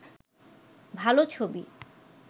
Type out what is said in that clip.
ভালো ছবি